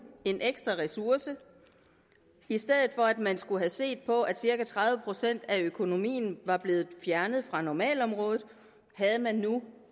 en ekstra ressource i stedet for at man skulle have set på at cirka tredive procent af økonomien var blevet fjernet fra normalområdet havde man nu